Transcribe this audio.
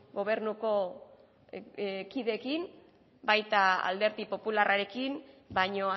gobernuko kideekin baita alderdi popularrarekin baino